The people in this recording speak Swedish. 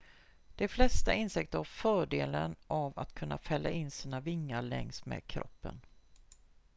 de flesta insekter har fördelen av att kunna fälla in sina vingar längs med kroppen